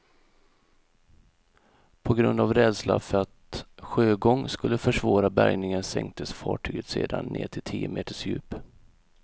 På grund av rädsla för att sjögång skulle försvåra bärgningen sänktes fartyget sedan ned till tio meters djup.